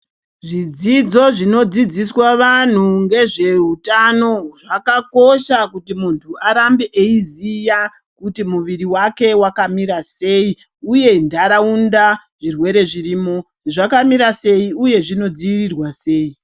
Zvidzidzo zvinodzidziswa vanhu ngezvehutano zvakakosha kuti muntu Arambe eiziva kuti muviri wake wakamira sei uye ndaraunda zvirwere zvirimo zvakamira sei uye zvinodzivirirwa sei.